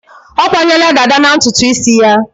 Ọ kwanyela dàdá na ntutu isi ya.